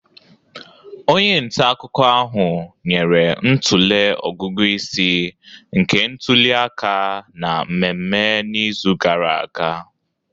Onye nta akụkọ ahụ nyere ntụle ọgụgụ isi nke ntuli aka na mmemme n'izu gara aga